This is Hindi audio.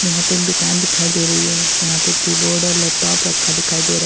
यहाँ पे एक दुकान दिखाई दे रही है जहां पर कीबोर्ड और लैपटॉप रखा दिखाई दे रहा --